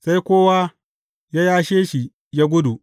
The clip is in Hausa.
Sai kowa ya yashe shi ya gudu.